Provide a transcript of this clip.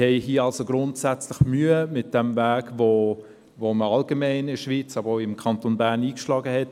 Wir haben also grundsätzlich Mühe mit diesem Weg, den man allgemein in der Schweiz, aber auch im Kanton Bern in den letzten Jahren eingeschlagen hat.